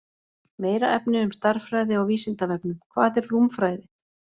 Meira efni um stærðfræði á Vísindavefnum: Hvað er rúmfræði?